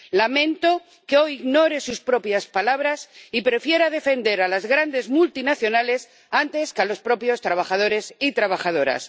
Lamento que hoy ignore sus propias palabras y prefiera defender a las grandes multinacionales antes que a los propios trabajadores y trabajadoras.